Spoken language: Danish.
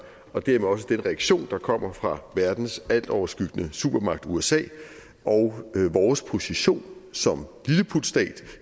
og dermed også den reaktion der kommer fra verdens altoverskyggende supermagt usa og vores position som lilleputstat